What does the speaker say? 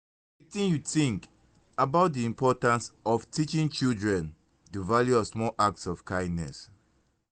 wetin you think about di importance of teaching children di value of small acts of kindness.